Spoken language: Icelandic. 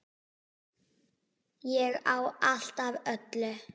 Ég á allt af öllu!